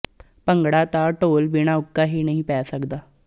ਭੰਗੜਾ ਤਾਂ ਢੋਲ ਬਿਨਾਂ ਉੱਕਾ ਹੀ ਨਹੀਂ ਪੈ ਸਕਦਾ